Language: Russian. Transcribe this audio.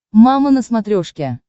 мама на смотрешке